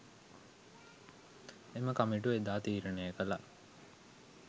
එම කමිටුව එදා තීරණය කළා.